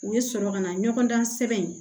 U bɛ sɔrɔ ka na ɲɔgɔn dan sɛbɛn